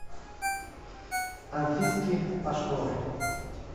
анфиски пашковой